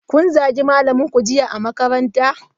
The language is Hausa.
Kun zagi malaminku jiya a makaranta?